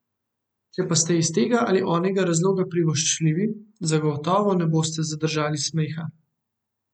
Če pa ste iz tega ali onega razloga privoščljivi, zagotovo ne boste zadržali smeha.